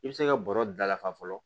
I bɛ se ka bɔrɔ da lafa fɔlɔ